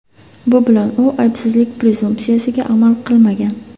Bu bilan u aybsizlik prezumpsiyasiga amal qilmagan.